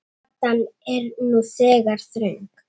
Gatan er nú þegar þröng.